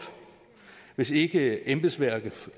hvis ikke embedsværket